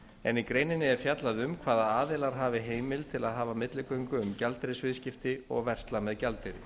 en í greininni er fjallað um hvaða aðilar hafi heimild til að hafa milligöngu um gjaldeyrisviðskipti og versla með gjaldeyri